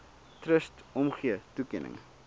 trust omgee toekenning